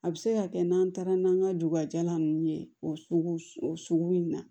A bɛ se ka kɛ n'an taara n'an ka duguba ninnu ye o sugu o sugu in na